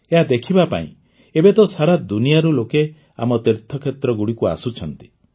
ଏହା ଦେଖିବା ପାଇଁ ଏବେ ତ ସାରା ଦୁନିଆରୁ ଲୋକେ ଆମ ତୀର୍ଥକ୍ଷେତ୍ରଗୁଡ଼ିକୁ ଆସୁଛନ୍ତି